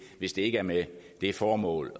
hvis det ikke er med det formål